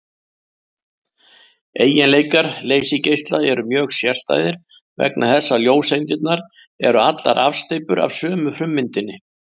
Eiginleikar leysigeisla eru mjög sérstæðir vegna þess að ljóseindirnar eru allar afsteypur af sömu frummyndinni.